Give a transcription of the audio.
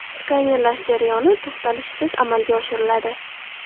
Skanerlash jarayoni to‘xtalishsiz amalga oshiriladi.